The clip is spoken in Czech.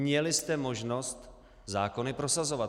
Měli jste možnost zákony prosazovat.